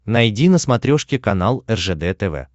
найди на смотрешке канал ржд тв